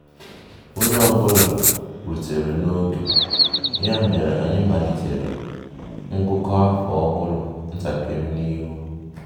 Onye ọ bụla rutere n'ioge, ya mere anyị malitere ngụkọ afọ ọhụrụ ntakịrị n'ihu